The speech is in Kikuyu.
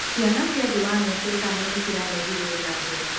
Ciana cia thĩ wa mĩaka ĩtano nĩciraheirwo njanjo.